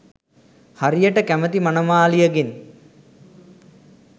හරියට කැමති මනමාලියෙගෙන්